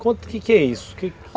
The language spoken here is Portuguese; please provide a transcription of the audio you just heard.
Conta o que que é isso.